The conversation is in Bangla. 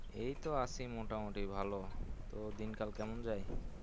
এই তো আছি মোটামোটি ভালো, তো দিন কাল কেমন যায়?